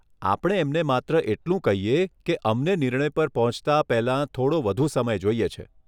આપણે એમને માત્ર એટલું કહીએ કે અમને નિર્ણય પર પહોંચતા પહેલાં, થોડો વધુ સમય જોઈએ છે.